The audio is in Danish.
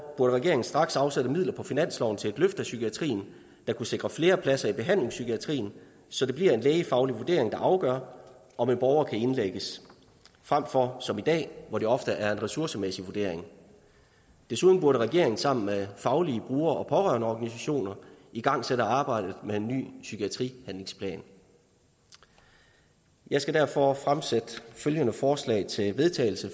burde regeringen straks afsætte midler på finansloven til et løft af psykiatrien der kunne sikre flere pladser i behandlingspsykiatrien så det bliver en lægefaglig vurdering der afgør om en borger kan indlægges frem for som i dag hvor det ofte er en ressourcemæssig vurdering desuden burde regeringen sammen med faglige brugere og pårørendeorganisationer igangsætte arbejdet med en ny psykiatrihandlingsplan jeg skal derfor og fremsætte følgende forslag til vedtagelse